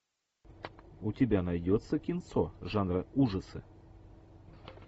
у тебя найдется кинцо жанра ужасы